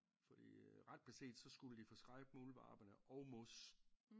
Fordi øh ret beset så skulle de forskrække muldvarpene og mos